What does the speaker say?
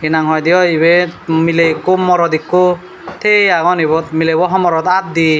hi nang hoi de oi ibet miley ekko morot ekko tiye agon ibot milebo homorot at de.